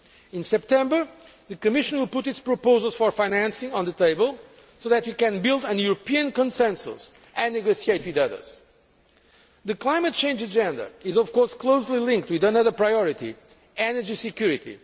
In September the Commission will put its proposals for financing on the table so that we can build a European consensus and negotiate with others. The climate change agenda is, of course, closely linked with another priority energy security.